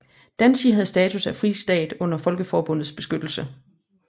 Danzig havde status af en fristat under Folkeforbundets beskyttelse